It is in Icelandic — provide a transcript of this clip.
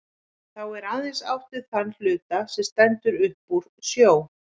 Þá er aðeins átt við þann hluta, sem stendur upp úr sjó.